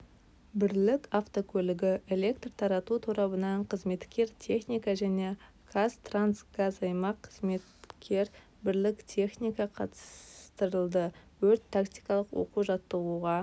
бірлік автокөлігі электр тарату торабынан қызметкер техника және қазтрансгазаймақ қызметкер бірлік техника қатыстырылды өрт-тактикалық оқу-жаттығуға